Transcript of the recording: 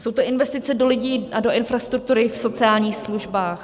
Jsou to investice do lidí a do infrastruktury v sociálních službách.